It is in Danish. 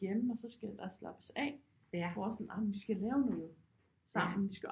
Hjemme og så skal der slappes af hvor sådan ej men vi skal lave noget sammen vi skal